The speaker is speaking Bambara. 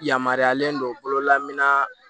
Yamaruyalen don bololamina